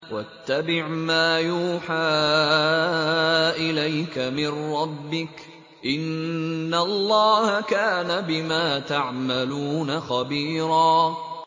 وَاتَّبِعْ مَا يُوحَىٰ إِلَيْكَ مِن رَّبِّكَ ۚ إِنَّ اللَّهَ كَانَ بِمَا تَعْمَلُونَ خَبِيرًا